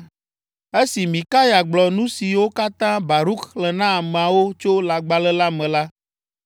Esi Mikaya gblɔ nu siwo katã Baruk xlẽ na ameawo tso lãgbalẽ la me la,